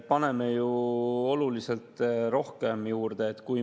Paneme ju oluliselt rohkem juurde.